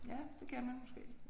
Ja det kan man måske